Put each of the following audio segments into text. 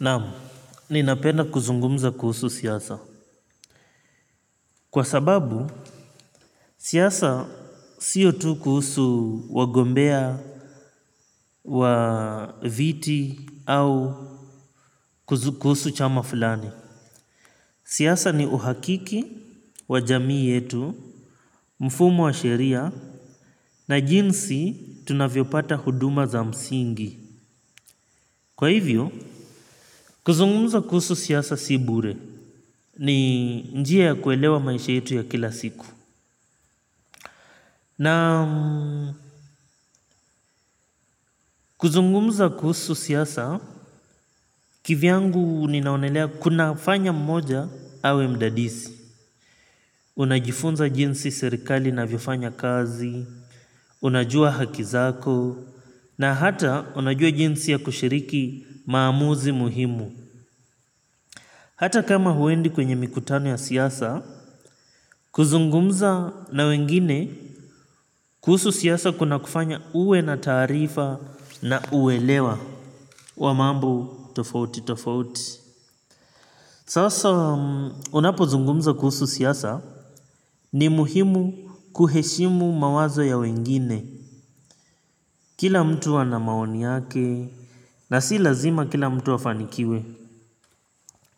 Naam, ninapenda kuzungumza kuhusu siasa. Kwa sababu, siasa siyo tu kuhusu wagombea, wa viti, au kuhusu chama fulani. Siasa ni uhakiki, wajamii yetu, mfumo wa sheria, na jinsi tunavyo pata huduma za msingi. Kwa hivyo, kuzungumza kuhusu siasa si bure. Ni njia ya kuelewa maisha yetu ya kila siku. Na kuzungumza kuhusu siaasa, kivyangu ninaonelea kuna fanya mmoja awe mdadisi. Unajifunza jinsi serikali na vifanya kazi, unajua hakizako, na hata unajua jinsi ya kushiriki maamuzi muhimu. Hata kama huendi kwenye mikutano ya siaasa, kuzungumza na wengine kuhusu siasa kuna kufanya uwe na taarifa na uwelewa wa mambo tofauti tofauti. Sasa unapo zungumza kuhusu siasa ni muhimu kuheshimu mawazo ya wengine kila mtu ana maoni yake na si lazima kila mtu wafanikiwe.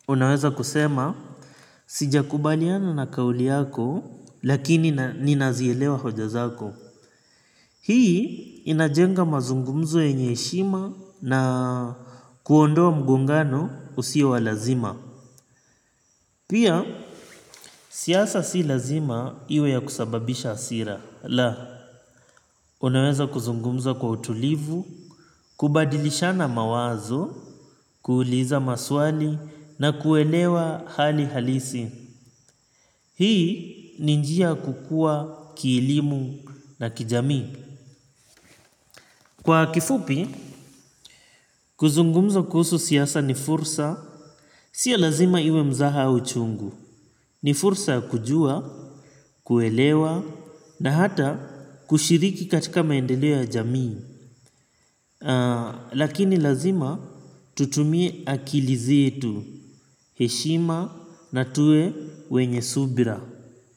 Unaweza kusema, sija kubaliana na kauli yako lakini ni nazielewa hoja zako. Hii, inajenga mazungumzo yenye heshima na kuondoa mgongano usio wa lazima. Pia, siasa si lazima iwe ya kusababisha hasira. Laa, unaweza kuzungumza kwa utulivu, kubadilishana mawazo, kuuliza maswali, na kuelewa hali halisi. Hii ni njia kukua kielimu na kijamii. Kwa kifupi, kuzungumza kuhusu siasa ni fursa. Sio lazima iwe mzaha uchungu. Ni fursa kujua, kuelewa, na hata kushiriki katika maendeleo ya jamii. Lakini lazima tutumie akilizi zetu. Heshima na tuwe wenye subira.